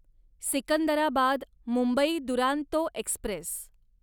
Secunderabad Mumbai Duronto Express